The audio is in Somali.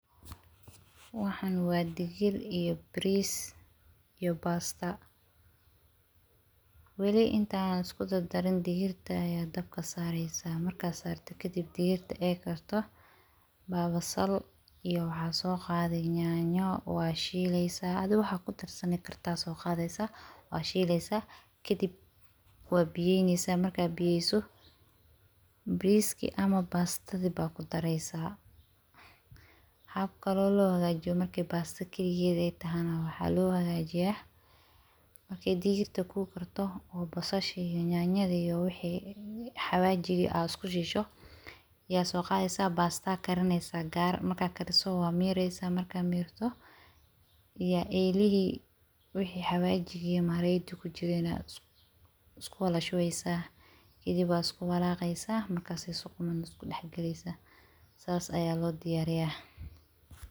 Waxan waa digir iyo baris iyo pasta wali intaan isku dardarin digirta aya dabka sareysaa markaa sarto kadib digirta ey karto baa basal iyo waxaaso qadee yanyo waa shileysaa adi waxaa ku darsani karto aa so qadaneysaa, kadib waa biyeyneysaa markaa biyeyso bariski ama pastadi aa ku dareysaa hab kalo loo hagajiyo marka pasto kaliged ey tahay na waxaa lagu hagajiyaa markey digirta ku karto oo basasha iyo yanyadi iyo wixii xawajigii aa isku shiisho yaso qadeysaa pasta karineysaa yaa gar waa mireysaa, markaa mirto yaa elihi wixi xawajidi iyo marageydi ku jiren so qadani waa isku wala shubeysaa kadib waa isku walaqeysaa marka sey si quman isku dax galeysaa saas ayaa lo diyariyaa